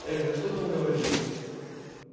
эх да что там говорить